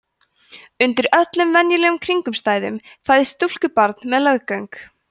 undir öllum venjulegum kringumstæðum fæðist stúlkubarn með leggöng